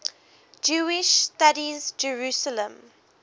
jewish studies jerusalem